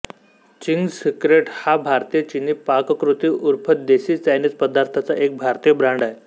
Ching's secret हा भारतीय चीनी पाककृती उर्फ देसी चायनिज पदार्थांचा एक भारतीय ब्रँड आहे